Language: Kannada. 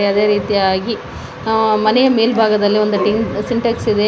ಅದೇ ರೀತಿಯಾಗಿ ಮನೆ ಮೇಲ್ಭಾಗದಲ್ಲಿ ಒಂದು ಸಿಂಟೆಕ್ಸ್ ಇದೆ.